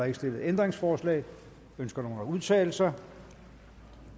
ikke stillet ændringsforslag ønsker nogen at udtale sig